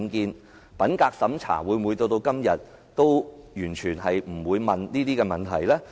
因此，品格審查到了今天，會否完全不提出這方面問題？